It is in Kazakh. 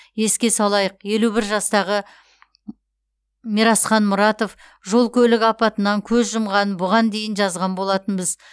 еске салайық елу бір жастағы мирасхан мұратов жол көлік апатынан көз жұмғанын бұған дейін жазған болатынбыз